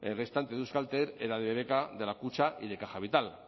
restante de euskaltel era de bbk de la kutxa y de caja vital